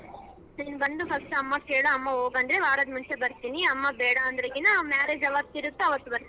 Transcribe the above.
ನೀನ್ ಬಂದು first ಅಮ್ಮಗ ಕೇಳು ಅಮ್ಮ ಹೋಗು ಅಂದ್ರೆ ವಾರದ ಮುಂಚೆ ಬರ್ತೀನಿ ಅಮ್ಮ ಬೇಡ ಅಂದ್ರೆ marriage ಯಾವಾತ ಇರುತ್ತೆ ಅವತ್ತ ಬರ್ತೀನಿ.